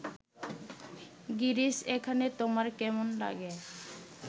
গিরিশ এখানে তোমার কেমন লাগে